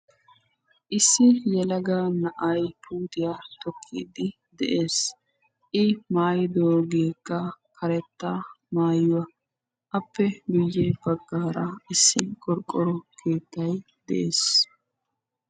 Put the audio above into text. Issi yelaga na'ay puutiya tokiddi de'ees. I maayidooge karetta maayuwa appe ya baggan qorqqoro keettay de'ees.